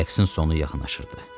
Rəqsin sonu yaxınlaşırdı.